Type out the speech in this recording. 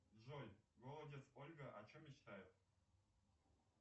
джой голодец ольга о чем мечтает